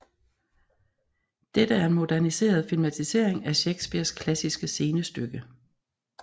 Dette er en moderniseret filmatisering af Shakespeares klassiske scenestykke